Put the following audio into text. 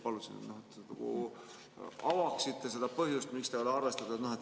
Paluksin, et avaksite seda põhjust, miks seda ei ole arvestatud.